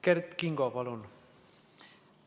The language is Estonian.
Kert Kingo, palun!